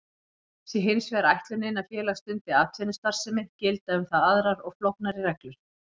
Sé hins vegar ætlunin að félag stundi atvinnustarfsemi gilda um það aðrar og flóknari reglur.